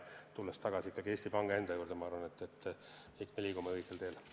Tulles tagasi Eesti Panga enda juurde, ma arvan, et me liigume õigel teel.